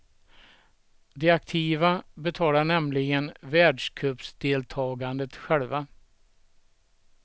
De aktiva betalar nämligen världscupdeltagandet själva.